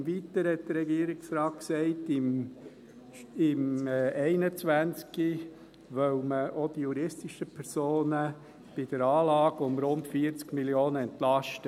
Im Weiteren hat der Regierungsrat gesagt, im Jahr 2021 wolle man auch die juristischen Personen bei der Anlage um rund 40 Mio. Franken entlasten.